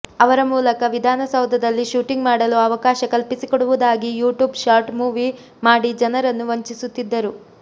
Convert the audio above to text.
ಅವರ ಮೂಲಕ ವಿಧಾನಸೌಧದಲ್ಲಿ ಶೂಟಿಂಗ್ ಮಾಡಲು ಅವಕಾಶ ಕಲ್ಪಿಸಿಕೊಡುವುದಾಗಿ ಯೂ ಟ್ಯೂಬ್ ಶಾರ್ಟ್ ಮೂವಿ ಮಾಡಿ ಜನರನ್ನು ವಂಚಿಸುತ್ತಿದ್ದರು